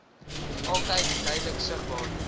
altyd duidelik sigbaar